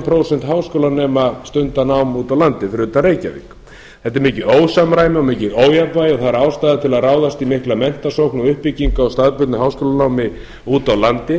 prósent háskólanema stunda nám úti á landi fyrir utan reykjavík þetta er mikið ósamræmi og mikið ójafnvægi og það er ástæða til að ráðast í mikla menntasókn og uppbyggingu á staðbundnu háskólanámi úti á landi